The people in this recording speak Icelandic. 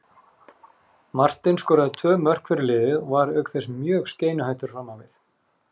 Martin skoraði tvö mörk fyrir liðið og var auk þess mjög skeinuhættur fram á við.